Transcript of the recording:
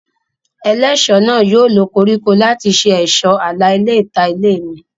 Ẹlẹ́ṣọ̀ náà yóò lo koríko láti ṣe ẹ̀ṣọ́ àlà ilẹ̀ ìta ilé mi